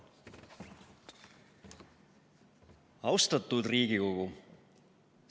Austatud Riigikogu!